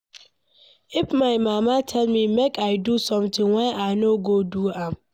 If my mama tell me make I do something why I no go do am?